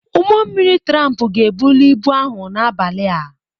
Ụgbọ mmiri tramp ga-ebuli ibu ahụ n'abalị a.